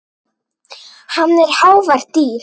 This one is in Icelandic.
Hann er hávært dýr.